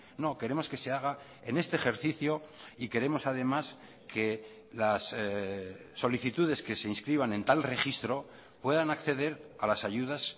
no queremos que se haga en este ejercicio y queremos además que las solicitudes que se inscriban en tal registro puedan acceder a las ayudas